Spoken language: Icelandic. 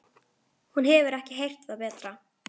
Hún hefur ekki heyrt það betra.